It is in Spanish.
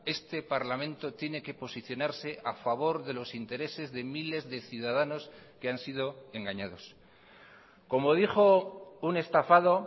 este parlamento tiene que posicionarse a favor de los intereses de miles de ciudadanos que han sido engañados como dijo un estafado